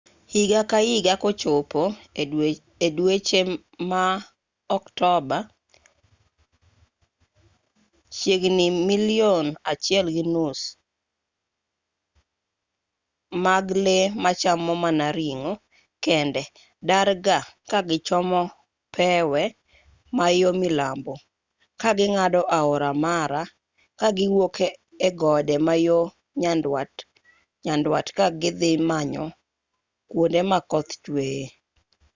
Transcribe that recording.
higa ka higa kochopo e dweche ma oktoba chiegni milion 1.5 mag lee machamo mana ring'o kende darga ka gichomo pewe ma yo milambo ka ging'ado aora mara kagiwuok e gode ma yo nyandwat ka gidhi manyo kwonde ma koth chweye